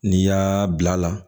N'i y'aa bil'a la